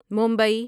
Mumbai